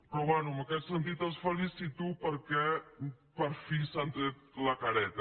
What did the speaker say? però bé en aquest sentit els felicito perquè per fi s’han tret la careta